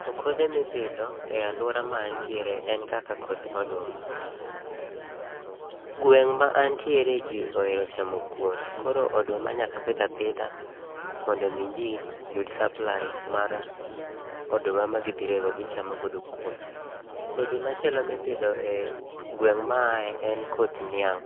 To kodhe mipidho e aluora ma antiere en kaka koth oduma. Gweng' ma antiere ji oere chamo kuon koro, oduma nyaka pidh apidha mondo mi jii yud supply mar oduma magidhi rego magichamo godo kuon. Kodhi machielo ma ipidho e gweng' ma a ae en koth niang'.